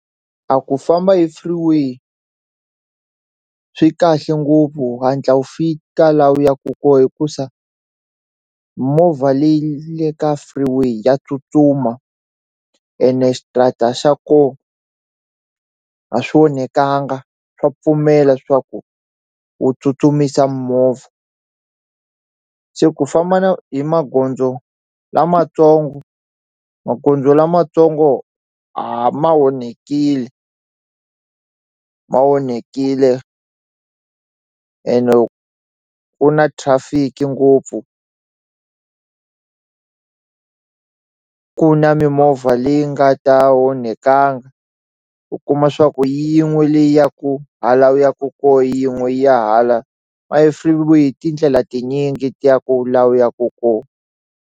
A ku famba hi freeway swi kahle ngopfu u hatla wu fika laha u ya ku kona hikusa movha leyi le ka freeway ya tsutsuma ene switarata xa kona a swi onhakanga swa pfumela swa ku u tsutsumisa movha se ku famba na hi magondzo lamatsongo magondzo lamatsongo ma onhakile ma onhakile ene ku na traffic ngopfu ku na mimovha leyi nga ta onhakangi u kuma swa ku yin'we leyi ya ku hala u yaka kona yin'we yi ya hala manjhe freeway i tindlela tinyingi ti yaka laha u ya ku kona.